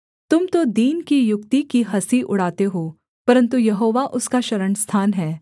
तुम तो दीन की युक्ति की हँसी उड़ाते हो परन्तु यहोवा उसका शरणस्थान है